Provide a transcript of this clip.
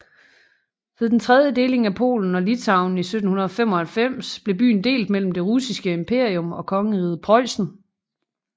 Ved den tredje deling af Polen og Litauen i 1795 blev byen delt mellem det russiske imperium og Kongeriget Preussen